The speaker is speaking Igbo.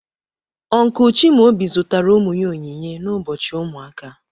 Uncle Chimaobi zụtara ụmụ ya onyinye n'ụbọchị ụmụaka.